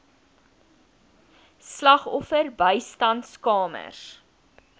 slagoffer bystandskamers